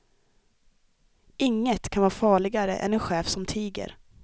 Inget kan vara farligare än en chef som tiger.